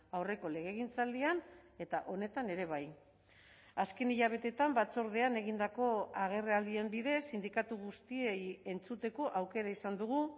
aurreko legegintzaldian eta honetan ere bai azken hilabeteetan batzordean egindako agerraldien bidez sindikatu guztiei entzuteko aukera izan dugu